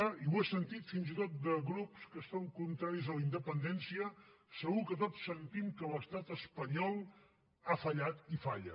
i ho he sentit fins i tot de grups que són contraris a la independència segur que tots sentim que l’estat espanyol ha fallat i falla